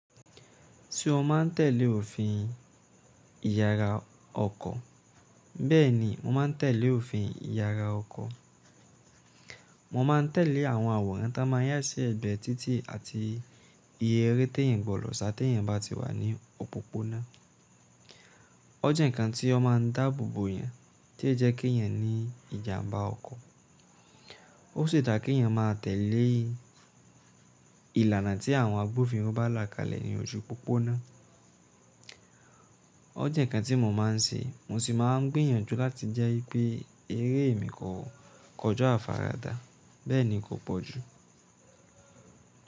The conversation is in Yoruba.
Se o maa n tèlé òfin ìyara ọkọ̀, bẹ́ẹ̀ni mo ma n tèlé òfin ìyara ọkọ̀. Mo má n tèlé àwọn àwòrán ta máa n yà sí ẹ̀gbẹ̀ títì àti iye eré tí èèyàn gbọdọ̀ sá tí èèyàn bá ti wà ní òpópónà. O jẹ nǹkan tí o máa n dáàbò bo èèyàn tí jẹ́ kí èèyàn ní ìjàmbá ọkọ̀. O sì dà kí èèyàn máa tèlé ìlànà tí àwọn agbófinró bá là kalẹ̀ ní ojú òpópónà. O jẹ nǹkan tí mo má n ṣe, mo sì má n gbìyànjú láti jẹ́ wipé eré mi kò koja àfarada, bẹ́ẹ̀ ni kò pọ̀ jù.